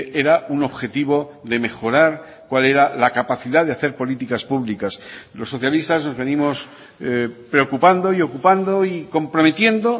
era un objetivo de mejorar cual era la capacidad de hacer políticas públicas los socialistas nos venimos preocupando y ocupando y comprometiendo